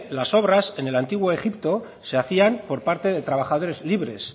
las obras en el antiguo egipto se hacían por parte de trabajadores libres